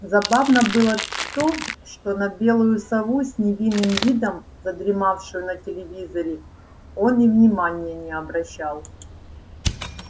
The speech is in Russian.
забавно было то что на белую сову с невинным видом задремавшую на телевизоре он и внимания не обращал